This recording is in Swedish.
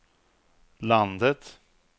landet